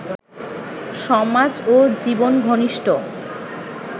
সমাজ ও জীবনঘনিষ্ঠ